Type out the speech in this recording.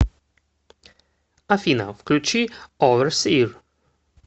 афина включи оверсир